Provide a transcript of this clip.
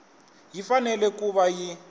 yi fanele ku va yi